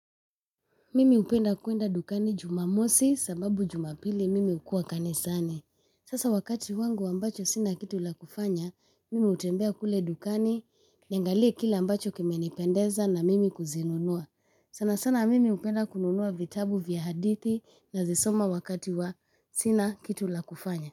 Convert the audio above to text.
Mimi hupenda kuenda dukani Jumamosi sababu Jumapili mimi hukua kanisani. Sasa wakati wangu ambacho sina kitu la kufanya, mimi hutembea kule dukani, niangalie kila ambacho kimenipendeza na mimi kuzinunua. Sana sana mimi hupenda kununua vitabu vya hadithi nazisoma wakati wa sina kitu la kufanya.